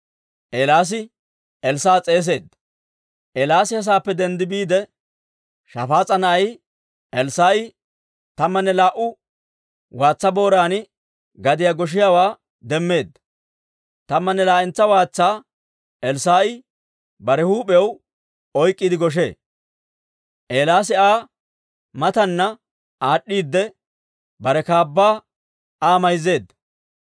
Eelaasi he saappe denddi biide, Shafaas'a na'ay Elssaa'i tammanne laa"u waatsa booran gadiyaa goshiyaawaa demmeedda; tammanne laa"entsa waatsaa Elssaa'i bare huup'iyaw oyk'k'iide goshee. Eelaasi Aa mataana aad'd'iidde, bare kaabbaa Aa mayzzeedda.